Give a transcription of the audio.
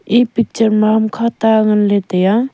e picture ma hamkha ta nganley taiya.